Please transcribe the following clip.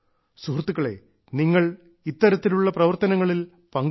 സുഹൃത്തുക്കളെ നിങ്ങൾ ഇത്തരത്തിലുള്ള പ്രവർത്തനങ്ങളിൽ പങ്കുചേരണം